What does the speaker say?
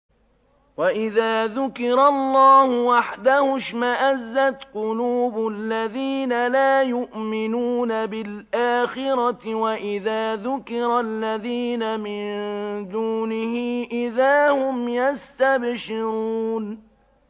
وَإِذَا ذُكِرَ اللَّهُ وَحْدَهُ اشْمَأَزَّتْ قُلُوبُ الَّذِينَ لَا يُؤْمِنُونَ بِالْآخِرَةِ ۖ وَإِذَا ذُكِرَ الَّذِينَ مِن دُونِهِ إِذَا هُمْ يَسْتَبْشِرُونَ